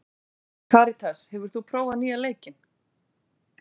Karitas, hefur þú prófað nýja leikinn?